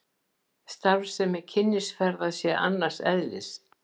Starfsemi Kynnisferða sé annars eðlis